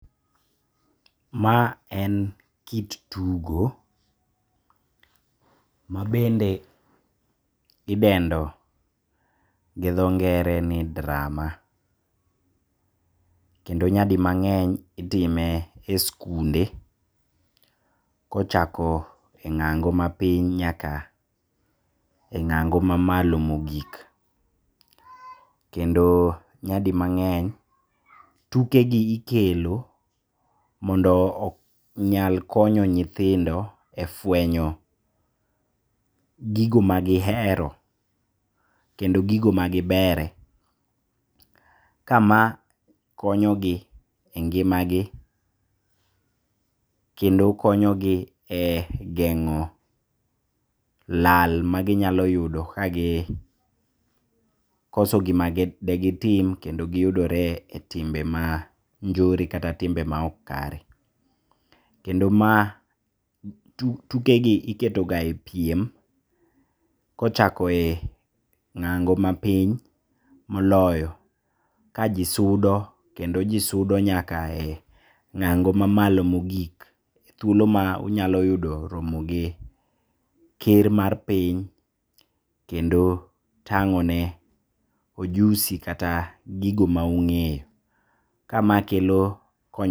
Ma en kit tugo, mabende idendo gi dho ngere ni drama, kendo nyadi mang'eny itime e skunde kochako e ng'ango mapiny nyaka e ng'ago mamalo maogik. Kendo nyadi mang'eny tukegi ikelo mondo onyal konyo nyithindo e fwenyo gigo magihero, kendo gigo magibere, kama konyogi e ngimagi kendo konyogi e geng'o lal maginyalo yudo kagikoso gima degitim kendo giyudore e timbe manjore kata e timbe maok kare, kendo mae tukegi iketoga e piem kochako e ng'ango mapiny moloyo ka jii sudo kendo jii sudo nyaka e ng'ango kamamalo mogik thuolo ka unyalo yudo romogi ker mar piny kendo tang'one ojusi kata gigo maung'eyo, kama kelo.